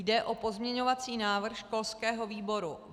Jde o pozměňovací návrh školského výboru.